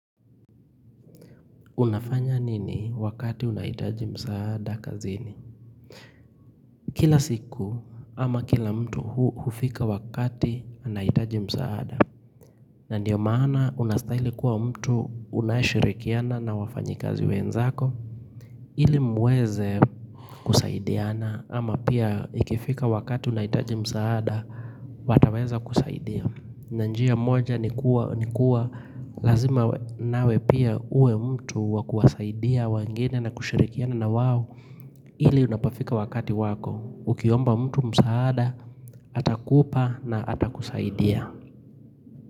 Unafanya nini wakati unahitaji msaada kazini? Kila siku ama kila mtu hufika wakati unahitaji msaada. Ndiyo maana unastahili kuwa mtu unayeshirikiana na wafanyikazi wenzako. Ili mueze kusaidiana ama pia ikifika wakati unahitaji msaada wataweza kusaidia. Na njia moja ni kuwa lazima nawe pia uwe mtu wa kuwasaidia wengine na kushirikiana na wao ili unapofika wakati wako Ukiomba mtu msaada, atakupa na atakusaidia.